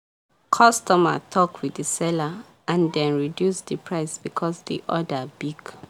customer talk with the seller and dem reduce the price because the order big.